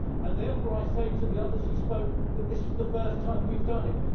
Therefore I say to the others who said that this is the first time we have done it